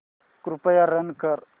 कृपया रन कर